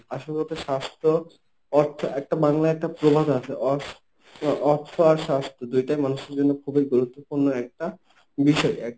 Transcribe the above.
আসল কথা স্বাস্থ্য অর্থ একটা বাংলায় একটা প্রবাদ আছে অর্থ আর স্বাস্থ্য দুইটাই মানুষের জন্য খুবই গুরুত্বপূর্ণ একটা বিষয়।